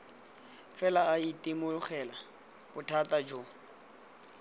fela a itemogela bothata jo